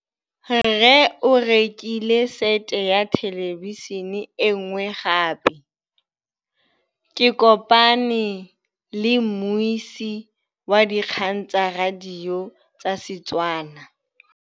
Rre o rekile sete ya thêlêbišênê e nngwe gape. Ke kopane mmuisi w dikgang tsa radio tsa Setswana.